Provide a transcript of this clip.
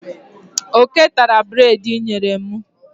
Oké tara breedi inyere mu.